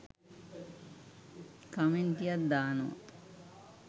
කමෙන්ටියක් දානවා